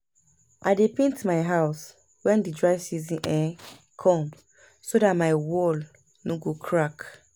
I dey paint my house wen dry season um com so dat my wall no go crack